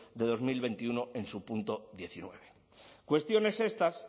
de dos mil veintiuno en su punto diecinueve cuestiones estas